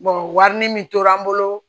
wini min tora n bolo